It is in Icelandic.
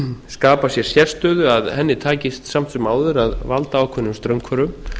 skapa sér sérstöðu að henni tækist samt sem áður að valda ákveðnum straumhvörfum